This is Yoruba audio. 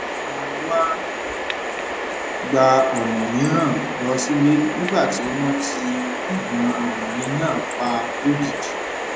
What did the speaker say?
a wá gba ònà mìíràn lọ sílé nígbà tí wón ti ònà àárín náà pa lójijì